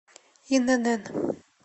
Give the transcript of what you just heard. инн